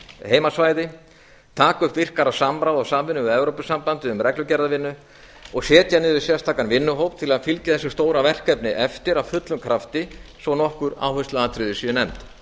heimasvæði taka upp virkara samráð og samvinnu við evrópusambandið um reglugerðarvinnu og setja niður sérstakan vinnuhóp til að fylgja þessu stóra verkefni eftir af fullum krafti svo nokkur áhersluatriði séu nefnd